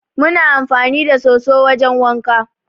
Mu na amfani da soso wajen wanka.